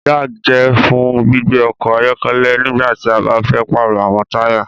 Jack jẹ fún gbígbé ọkọ ayọkẹlẹ nígbàtí a ba fẹ parọ awọn taya